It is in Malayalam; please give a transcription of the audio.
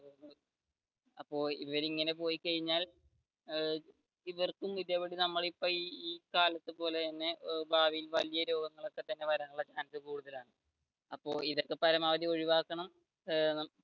അപ്പോൾ ഇവർ ഇങ്ങനെ പോയി കഴിഞ്ഞാൽ ഏർ ഇവർക്കും ഇതേപടി നമ്മൾ ഇപ്പൊ ഈ കാലത്തു പോലെ തന്നെ ഭാവിയിൽ വല്യ രോഗം വരാനുള്ള chance കൂടുതലാണ് അപ്പൊ ഇതൊക്കെ പരമാവധി ഒഴിവാക്കണം ഏർ